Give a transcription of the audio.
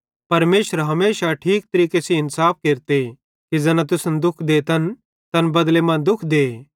परमेशरे हमेशा ठीक तरीके सेइं इन्साफे केरते कि ज़ैना तुसन दुःख देतन तैन बदले मां दुःख दे